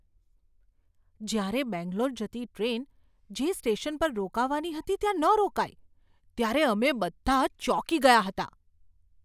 જ્યારે બેંગ્લોર જતી ટ્રેન જે સ્ટેશન પર રોકાવાની હતી ત્યાં ન રોકાઈ ત્યારે અમે બધા ચોંકી ગયા હતા.